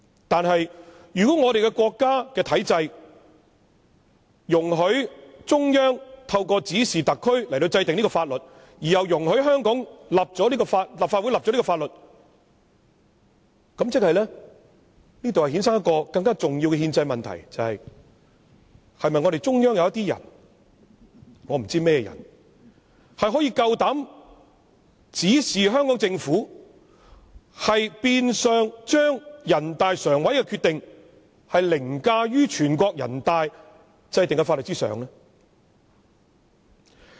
但是，如果國家的體制容許中央透過指示特區制定這項法律，而又容許香港立法會訂立這項法律，便會衍生出更重要的憲制問題，便是中央是否有些人——我不知道甚麼人——可以膽敢指示香港政府，變相將人大常委會的決定凌駕於全國人大制定的法律之上呢？